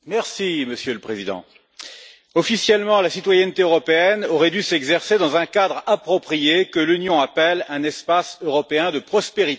Monsieur le Président, officiellement, la citoyenneté européenne aurait dû s'exercer dans un cadre approprié que l'Union appelle un espace européen de prospérité.